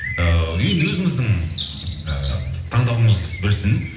ыыы енді өзіңіздің ы таңдауыңыз білсін